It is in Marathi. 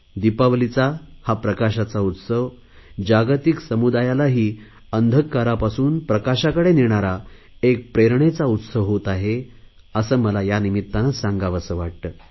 दिपावलीचा हा प्रकाशाचा उत्सव जागतिक समुदायालाही अंधकारापासून प्रकाशाकडे नेणारा एक प्रेरणेचा उत्सव होत आहे असे मला यानिमित्ताने सांगावेसे वाटते